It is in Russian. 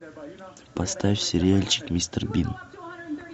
поставь сериальчик мистер бин